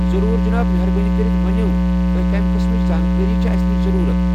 ضروٗر، جناب! مہربٲنۍ کٔرِتھ ؤنِو تۄہہِ کمہِ قسمٕچ زانٛکٲرِی چھِوٕ اسہِ نِش ضروٗرت۔